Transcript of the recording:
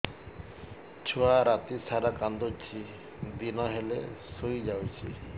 ଛୁଆ ରାତି ସାରା କାନ୍ଦୁଚି ଦିନ ହେଲେ ଶୁଇଯାଉଛି